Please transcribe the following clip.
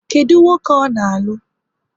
Kedụ nwoke ọ na-alụ?